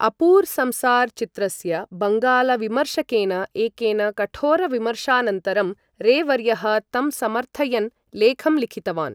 अपूर् संसार् चित्रस्य बङ्गालविमर्शकेन एकेन कठोर विमर्शानन्तरं, रे वर्यः तं समर्थयन् लेखं लिखितवान्।